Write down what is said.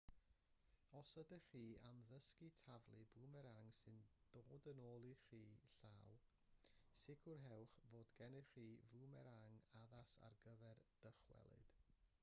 os ydych chi am ddysgu taflu bwmerang sy'n dod yn ôl i'ch llaw sicrhewch fod gennych chi fwmerang addas ar gyfer dychwelyd